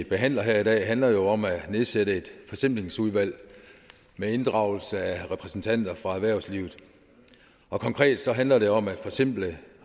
behandler her i dag handler jo om at nedsætte et forsimplingsudvalg med inddragelse af repræsentanter fra erhvervslivet og konkret så handler det om at forsimple